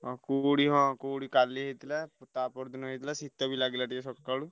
ହଁ କୁହୁଡି ହଁ କୁହୁଡି କାଲି ହେଇଥିଲା। ତା ପରଦିନ ହେଇଥିଲା। ଶୀତ ବି ଲାଗିଲା ଟିକେ ସକାଳୁ।